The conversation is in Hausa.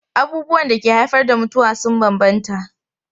Abubuwan da ke haifar da mutuwa sun bambanta.